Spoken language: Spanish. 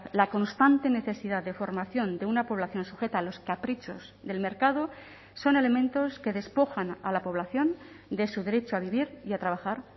la constante necesidad de formación de una población sujeta a los caprichos del mercado son elementos que despojan a la población de su derecho a vivir y a trabajar